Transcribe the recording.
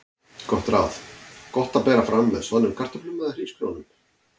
Gott ráð: Gott að bera fram með soðnum kartöflum eða hrísgrjónum.